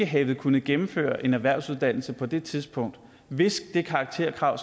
have kunnet gennemføre en erhvervsuddannelse på det tidspunkt hvis det karakterkrav